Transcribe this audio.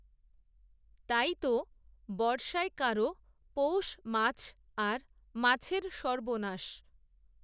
তাই তো বর্ষায় কারও পৌষ, মাছ, আর মাছের সর্বনাশ